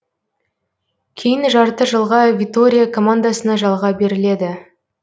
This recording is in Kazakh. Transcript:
кейін жарты жылға витория командасына жалға беріледі